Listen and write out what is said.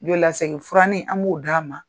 U y'o lasegin, furani an b'o d'a ma.